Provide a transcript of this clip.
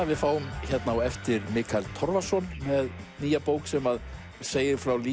við fáum á eftir Mikael Torfason með nýja bók sem segir frá lífi